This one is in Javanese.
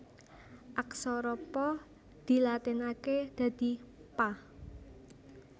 Aksara Pa dilatinaké dadi Pa